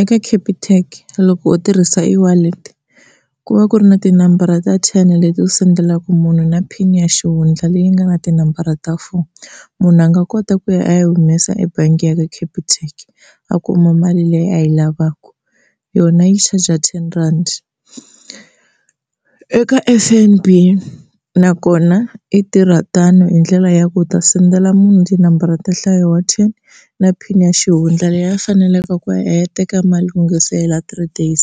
Eka Capitec loko u tirhisa e-wallet ku va ku ri na tinambara ta ten leti u sendelaka munhu na pin ya xihundla leyi nga na tinambara ta four. Munhu a nga kota ku ya a ya yi humesa ebangi ya ka Capitec a kuma mali leyi a yi lavaka yona yi charger ten rhandi. Eka F_N_B nakona yi tirha tano hi ndlela ya ku u ta sendela munhu tinambara ta nhlayo wa ten na pin ya xihundla leyi faneleke ku ya teka mali ku nga se hela three days